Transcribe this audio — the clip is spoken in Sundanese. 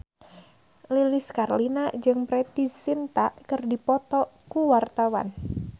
Lilis Karlina jeung Preity Zinta keur dipoto ku wartawan